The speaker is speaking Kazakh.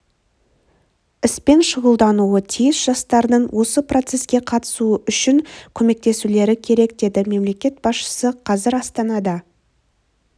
іспен шұғылдануы тиіс жастардың осы процеске қатысуы үшін көмектесулері керек деді мемлекет басшысы қазір астанада